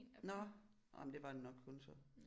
Nåh nåh men det var det nok kun så